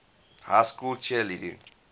high school cheerleading